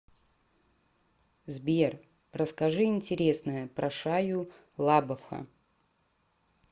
сбер расскажи интересное про шайю лабафа